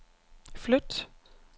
flyt